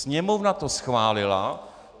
Sněmovna to schválila.